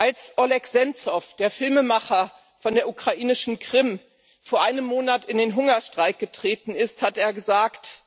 Als Oleh Senzow, der Filmemacher von der ukrainischen Krim, vor einem Monat in den Hungerstreik getreten ist, hat er gesagt